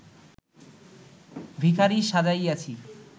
ভিখারী সাজাইয়াছি